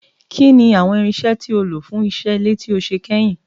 Kín ni àwọn irinṣẹ́ tí o lò fún iṣẹ́ ilé tí o ṣe kẹyìn?